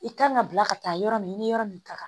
I kan ka bila ka taa yɔrɔ min i ni yɔrɔ min ka kan